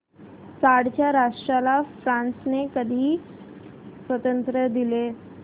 Chad या राष्ट्राला फ्रांसने कधी स्वातंत्र्य दिले